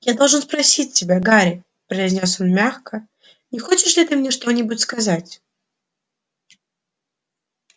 я должен спросить тебя гарри произнёс он мягко не хочешь ли ты мне что-нибудь сказать